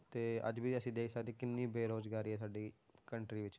ਤੇ ਅੱਜ ਵੀ ਅਸੀਂ ਦੇਖ ਸਕਦੇ ਹਾਂ ਕਿੰਨੀ ਬੇਰੁਜ਼ਗਾਰੀ ਹੈ ਸਾਡੀ country ਵਿੱਚ